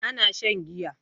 Ina shan giya